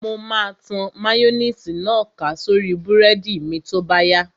Mo máa tan máyóníìsì náà ká sórí búrẹ́dì mi tó bá yá